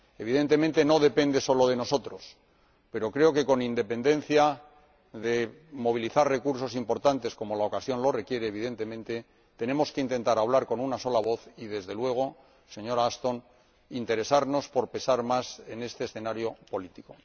Evidentemente, no depende solo de nosotros, pero creo que, con independencia de que se movilicen recursos importantes, como la ocasión lo requiere, por supuesto, tenemos que intentar hablar con una sola voz y, desde luego, señora Ashton, interesarnos por pesar más en este escenario político.